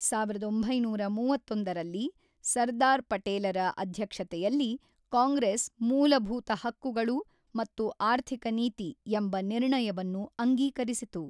ಸಾವಿರದ ಒಂಬೈನೂರ ಮೂವತ್ತೊಂದರಲ್ಲಿ ಸರ್ದಾರ್ ಪಟೇಲರ ಅಧ್ಯಕ್ಷತೆಯಲ್ಲಿ ಕಾಂಗ್ರೆಸ್ 'ಮೂಲಭೂತ ಹಕ್ಕುಗಳು ಮತ್ತು ಆರ್ಥಿಕ ನೀತಿ' ಎಂಬ ನಿರ್ಣಯವನ್ನು ಅಂಗೀಕರಿಸಿತು.